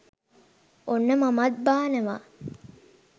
ඔන්න මමත් බානවා.